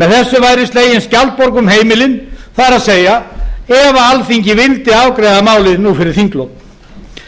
með þessu væri slegin skjaldborg um heimilin það er ef alþingi vildi afgreiða málið nú fyrir þinglok